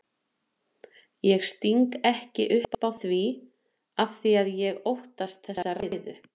Ég sting ekki upp á því afþvíað ég óttast þessa ræðu.